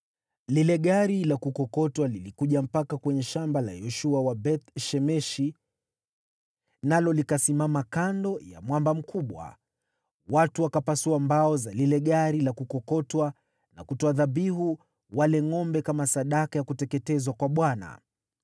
Lile gari la kukokotwa lilikuja mpaka kwenye shamba la Yoshua wa Beth-Shemeshi, nalo likasimama kando ya mwamba mkubwa. Watu wakapasua mbao za lile gari la kukokotwa na kutoa dhabihu wale ngʼombe kama sadaka ya kuteketezwa kwa Bwana .